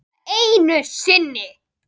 Svona einu sinni?